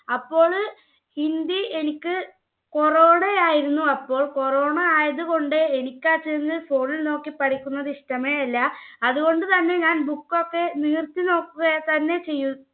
അപ്പോള് hindi എനിക്ക്, corona ആയിരുന്നു അപ്പോൾ. corona ആയതുകൊണ്ട് എനിക്ക് phone നോക്കി പഠിക്കുന്നത് എനിക്ക് ഇഷ്ടമേയല്ല. അതുകൊണ്ടു തന്നെ book നിവർത്തിനോക്കി തന്നെ